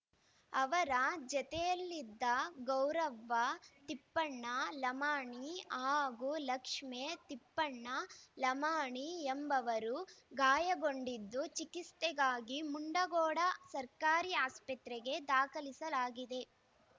ಅವರ ಜತೆಯಲ್ಲಿದ್ದ ಗೌರವ್ವ ತಿಪ್ಪಣ್ಣ ಲಮಾಣಿ ಹಾಗೂ ಲಕ್ಷ್ಮೇ ತಿಪ್ಪಣ್ಣ ಲಮಾಣಿ ಎಂಬವರು ಗಾಯಗೊಂಡಿದ್ದು ಚಿಕಿತ್ಸೆಗಾಗಿ ಮುಂಡಗೋಡ ಸರ್ಕಾರಿ ಆಸ್ಪತ್ರೆಗೆ ದಾಖಲಿಸಲಾಗಿದೆ